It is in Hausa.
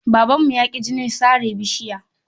Babanmu ya ƙi jinin sare bishiya.